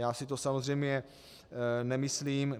Já si to samozřejmě nemyslím.